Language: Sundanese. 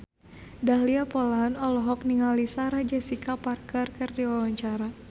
Dahlia Poland olohok ningali Sarah Jessica Parker keur diwawancara